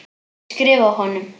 Ég skrifa honum!